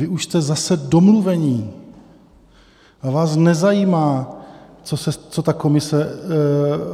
Vy už jste zase domluveni a vás nezajímá, co ta komise